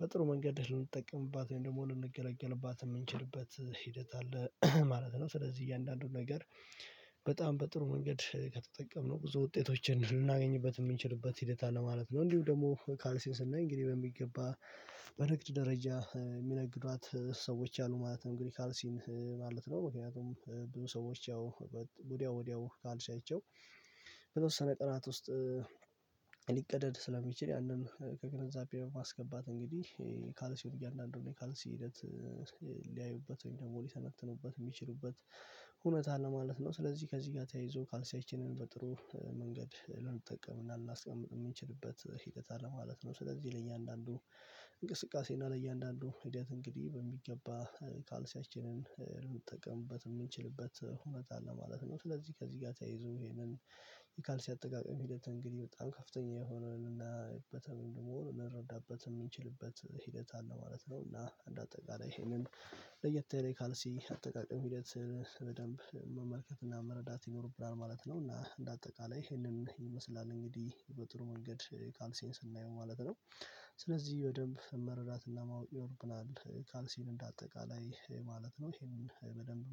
በጥሩ መንገድ ልንጠቀምባት ወይም ደግሞ ልንገለገልባት የምንችልበት ሂደት አለ ማለት ነው። ስለዚህ እያንዳንዱን ነገር በጣም በጥሩ መንገድ ከተጠቀምነው ብዙ ውጤቶችን ልናገኝበት የምንችልበት ሂደት አለ ማለት ነው። እንዲሁ ደግሞ ካልሲን ስናይ እንግዲህ በሚገባ በንግድ ደረጃ የሚነግዷት ሰዎች አሉ ማለት ነው። እንግዲህ ካርሲን ማለት ነው ምክንያቱም ብዙ ሰዎች ወዲያው ወዲያው ካልሻይቸው በተወሰነ ቀናት ውስጥ ሊቀደድ ስለሚችል ያንን ከግንዛቤ ማስገባት እንግዲህ ካልሲውን እያንዳንዱን ካልሲ ሂደት ወይም ደግሞ ሊሰነትኑበት የሚችሉበት እውነት ነው ማለት ነው። ስለዚህ ከዚህ ጋር ተያይዞ ካልሳየችንን በጥሩ መንገድ ልንጠቀምና ልናስቀምጥ የምንችልበት ሂደት አለ ማለት ነው። ስለዚህ ለእያንዳንዱ እና ለእያንዳንዱ ሂደት እንግዲህ በሚገባ ካልሲያችንን ልንጠቀምበት የምንችልበት ሁኔታ አለ ማለት ነው። ስለዚህ ከዚህ ጋር ተያይዞ ይሄንን የካልሲ አጠቃቀም ሂደት እንግዲህ በጣም ከፍተኛ የሆነን እና የበተመንድ መሆን ልንረዳበት የሚችልበት ሂደት አለ ማለት ነው። እና አንድ አጠቃላይ ይሄንን ለየት ያለ የካልሲ አጠቃቀም ሂደት በደንብ መመልከት እና መረዳት ይኖርብናል ማለት ነው። እና እንደ አጠቃላይ ይሄንን ይመስላል እንግዲህ በጥሩ መንገድ ካልሴን ስናየው ማለት ነው። ስለዚህ በደንብ መረዳትና ማወቅ ይኖርብናል ካልሲን እንደ አጠቃላይ ማለት ነው። ይሄንን በደንብ